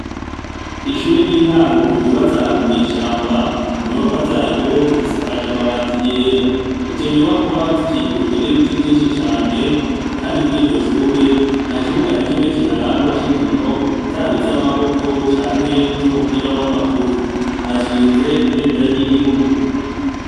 Ishure ry’intango ryubatse ahantu mw’ishamba, inyubakwa zaryo zisakaje amabati yera, izo nyubakwa zikikujwe n’ibiti vyinshi cane kandi kuriryoshure ntakibuga nakimwe kiharangwa c’inkino zaba izamaboko canke izumupira w’amaguru, hashinze ibendera ry’igihugu.